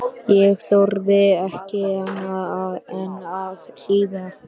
Ég þorði ekki annað en að hlýða.